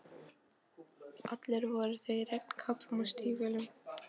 Allir voru þeir í regnkápum og stígvélum.